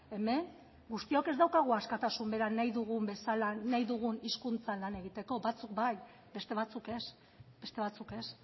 hemen guztiok ez daukagu askatasun bera nahi dugun bezala nahi dugun hizkuntzan lan egiteko batzuk bai beste batzuk ez beste batzuk ez